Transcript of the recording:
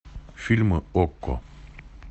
фильмы окко